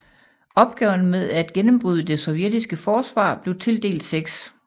Opgaven med at gennembryde det sovjetiske forsvar blev tildelt 6